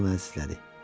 Qoca onu əzizlədi.